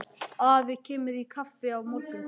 Afi kemur í kaffi á morgun.